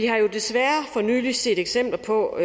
og nylig set eksempler på